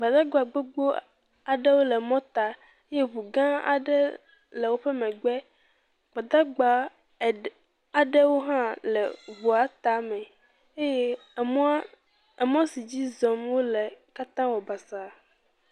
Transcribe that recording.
Gbadagba gbogbo aɖewo le mɔta eye ŋugã aɖe le woƒe megbe. Gbadagba eɖe, aɖewo hã le eŋua tame eye emɔa, emɔ si dzi zɔm wole katã wɔ basaa.